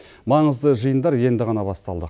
маңызды жиындар енді ғана басталды